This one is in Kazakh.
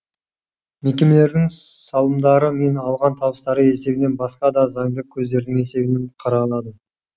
мекемелердің салымдары мен алған табыстары есебінен басқа да заңды көздердің есебінен қаралады